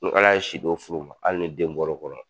Ni Ala ye si d'o furu ma hali ni den bɔra kɔnɔ